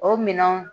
O minɛnw